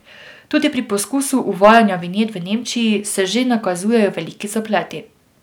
Tudi pri poskusu uvajanja vinjet v Nemčiji se že nakazujejo veliki zapleti.